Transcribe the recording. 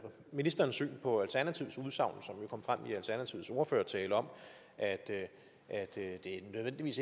ministerens syn på alternativets ordførers tale om at det